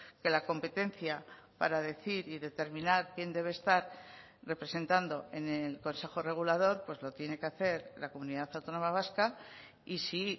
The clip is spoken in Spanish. que la competencia para decir y determinar quién debe estar representando en el consejo regulador pues lo tiene que hacer la comunidad autónoma vasca y si